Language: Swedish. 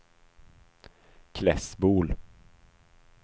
Klässbol